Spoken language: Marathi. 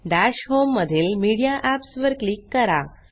दश होम मधील मीडिया एप्स वर क्लिक करा